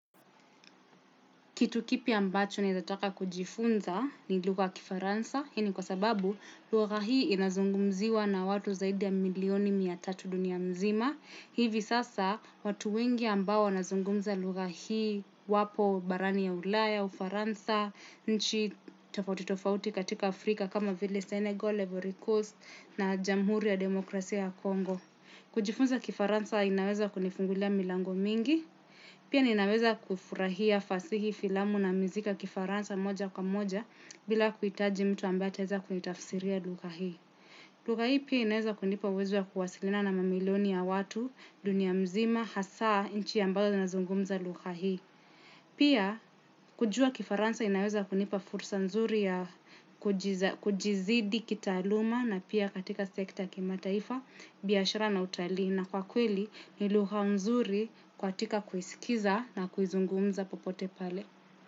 Kitu kipya ambacho ninataka kujifunza ni lugha ya kifaransa. Hii ni kwa sababu lugha hii inazungumziwa na watu zaidi ya milioni mia tatu dunia mzima. Hivi sasa watu wengi ambao wanazungumza lugha hii wapo barani ya ulaya, ufaransa, nchi tofauti tofauti katika Afrika kama vile Senegal, ivory Coast na jamhuri ya demokrasia ya Kongo. Kujifunza kifaransa inaweza kunifungulia milango mingi. Pia ninaweza kufurahia fasihi filamu na miziki ya kifaransa moja kwa moja bila kuhitaji mtu ambaye ataeza kunitafisiria lugha hii. Lugha hii pia inaweza kunipa uwezo wa kuwasiliana na mamiloni ya watu, dunia mzima, hasaa, nchi ambayo zina zungumza lugha hii. Pia kujua kifaransa inaweza kunipa fursa nzuri ya kujizidi kitaaluma na pia katika sekta kimataifa biashara na utalii. Na kwa kweli ni lugha mzuri katika kuisikiza na kuizungumza popote pale.